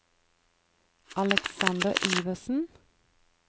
Alexander Iversen